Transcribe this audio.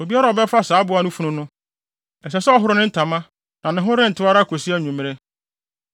Obiara a ɔbɛfa saa aboa no funu no, ɛsɛ sɛ ɔhoro ne ntama na ne ho rentew ara kosi anwummere.